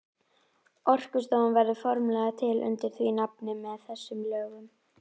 Orkustofnun verður formlega til undir því nafni með þessum lögum.